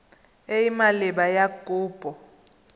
e e maleba ya kopo